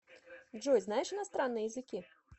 джой знаешь иностранные языки